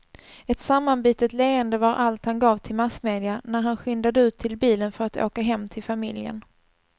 Ett sammanbitet leende var allt han gav till massmedia när han skyndade ut till bilen för att åka hem till familjen.